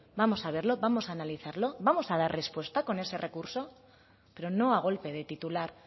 vamos a verlo vamos a analizarlo vamos a dar respuesta con ese recurso pero no a golpe de titular